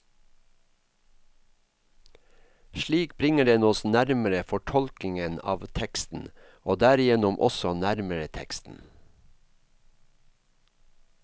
Slik bringer den oss nærmere fortolkningen av teksten, og derigjennom også nærmere teksten.